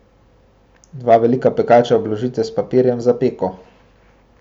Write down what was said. Dva velika pekača obložite s papirjem za peko.